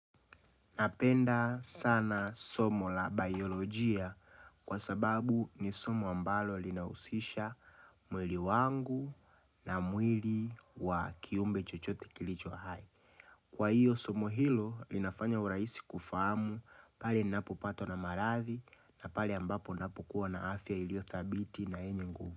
Napenda sana somo la biolojia kwa sababu ni somo ambalo linahusisha mwili wangu na mwili wa kiumbe chochote kilicho hai. Kwa hiyo somo hilo linafanya urahisi kufahamu pale ninapo patwa na maradhi na pale ambapo napo kuwa na afya ilio thabiti na yenye nguvu.